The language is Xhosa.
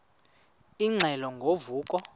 ingxelo ngo vuko